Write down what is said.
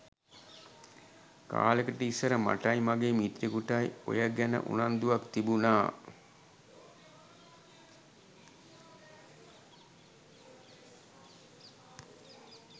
කාලෙකට ඉස්සර මටයි මගේ මිත්‍රයෙකුටයි ඔය ගැන උනන්දුවක් තිබුනා.